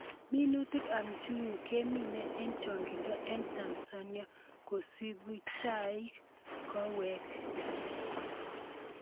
Minutik ab njuguk kemine eng' chongindo eng' Tanzania, kosubi chaik, kawek